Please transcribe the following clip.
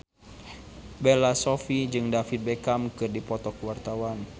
Bella Shofie jeung David Beckham keur dipoto ku wartawan